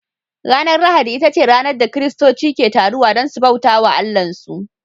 Ranar lahadi ita ce ranar da kiristoci ke taruwa don su bauta wa Allahnsu